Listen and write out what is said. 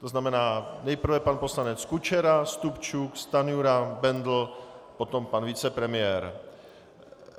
To znamená nejprve pan poslanec Kučera, Stupčuk, Stanjura, Bendl, potom pan vicepremiér.